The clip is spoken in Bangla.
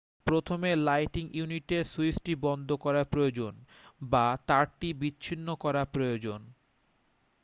প্রথমে লাইটিং ইউনিটের সুইচটি বন্ধ করা প্রয়োজন বা তারটি বিচ্ছিন্ন করা প্রয়োজন